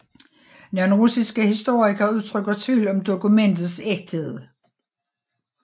Nogle russiske historikere udtrykker tvivl om dokumentets ægthed